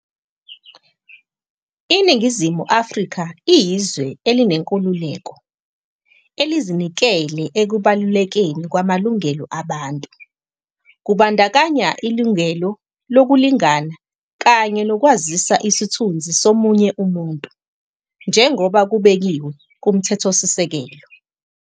"INingizimu Afrika iyizwe elinenkululeko, elizinikele ekubalulekeni kwamalungelo abantu, kubandakanya ilungelo lokulingana kanye nokwazisa isithunzi somunye umuntu, njengoba kubekiwe kuMthethosisekelo."